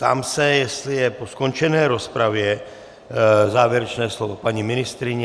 Ptám se, jestli je po skončené rozpravě závěrečné slovo paní ministryně.